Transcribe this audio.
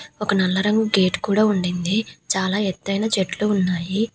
ఒక నల్ల రంగు గేట్ కూడ ఉండింది చాలా ఎత్తయిన చెట్లు ఉన్నాయి.